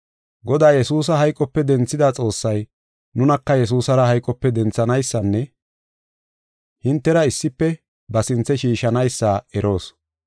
Godaa Yesuusa hayqope denthida Xoossay, nunaka Yesuusara hayqope denthanaysanne hintera issife ba sinthe shiishanaysa eroos.